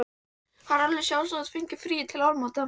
Það var alveg sjálfsagt að þú fengir frí til áramóta.